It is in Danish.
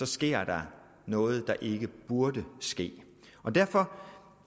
sker noget der ikke burde ske derfor